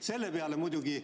Selle peale muidugi ...